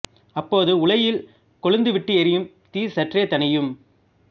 அப்போது உலையில் கொழுந்து விட்டு எரியும் தீ சற்றே தணியும்